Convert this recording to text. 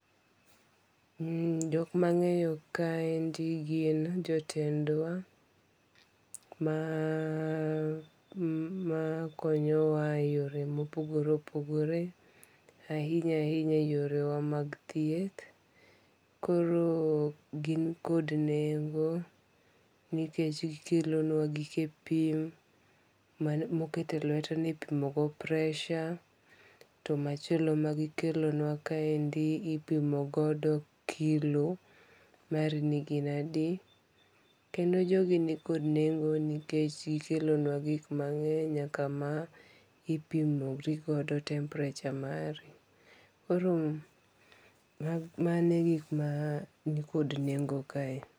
E jok mang'eyo ka endi en jo tendwa ma konyo wa e yore ma opogore opogore, ahinya ahinya to yorewa mag tieth. Koro gin kod nengo nikech gi kelonwa gike pim ma oket e lwet ni ipimo go pressure to machielo ma gi kelonwa kaendi ipimo godo kilo mari ni gin adi. kendo jo gi ni kod nengo nikech gi kelonwa gik mangeny nyaka ma ipimori godo temperature mari. Koro mano gik ma ni kod nengo kae.